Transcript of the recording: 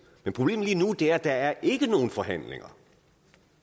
men problemet lige nu er at der ikke er nogen forhandlinger